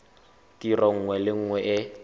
tiro nngwe le nngwe e